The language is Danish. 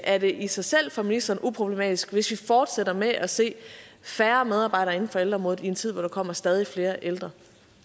er det i sig selv for ministeren uproblematisk hvis vi fortsætter med at se færre medarbejdere inden for ældreområdet i en tid hvor der kommer stadig flere ældre